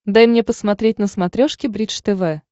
дай мне посмотреть на смотрешке бридж тв